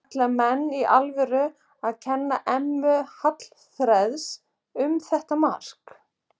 Ætla menn í alvörunni að kenna Emma Hallfreðs um þetta mark?